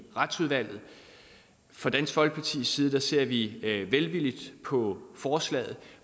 retsudvalget fra dansk folkepartis side ser vi velvilligt på forslaget